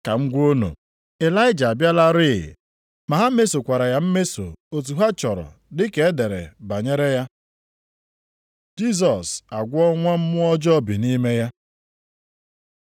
Ka m gwa unu, Ịlaịja abịalarị. Ma ha mesokwara ya mmeso otu ha chọrọ dị ka e dere banyere ya.” Jisọs agwọọ nwa mmụọ ọjọọ bi nʼime ya